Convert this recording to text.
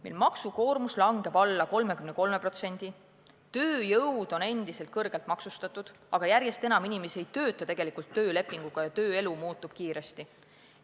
Meie maksukoormus langeb alla 33%, tööjõud on endiselt kõrgelt maksustatud, aga järjest enam inimesi ei tööta tegelikult töölepinguga ja tööelu muutub kiiresti.